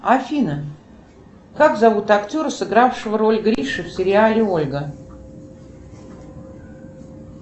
афина как зовут актера сыгравшего роль гриши в сериале ольга